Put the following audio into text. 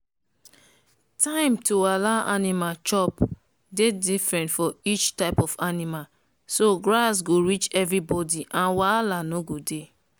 time to allow animal chop dey different for each type of animal so grass go reach everybody and wahala no go dey.